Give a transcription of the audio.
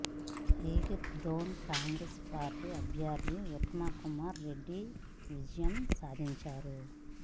ఈ లీడ్తోనే కాంగ్రెస్ పార్టీ అభ్యర్ధి ఉత్తమ్ కుమార్ రెడ్డి విజయం సాధించారు